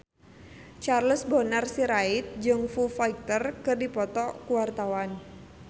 Charles Bonar Sirait jeung Foo Fighter keur dipoto ku wartawan